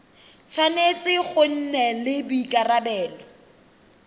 tshwanetse go nna le boikarabelo